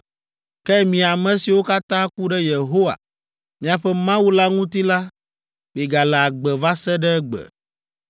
Ke mi ame siwo katã ku ɖe Yehowa, miaƒe Mawu la ŋuti la, miegale agbe va se ɖe egbe.